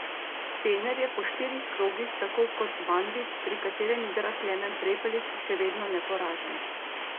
Fener je po štirih krogih tako kot Banvit, pri katerem igra Klemen Prepelič, še vedno neporažen.